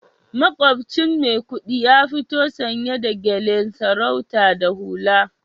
Makwabcin Maikudi ya fito sanye da gyalen sarauta da hula